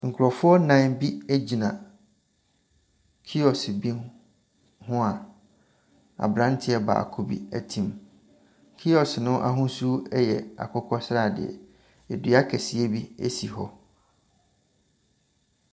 Nkurɔfoɔ nnan bi gyina kiosk bi ho a aberanteɛ baako bi tem. Kiosk no ahosuo yɛ akokɔ sradeɛ. Dua kɛseɛ bi si hɔ.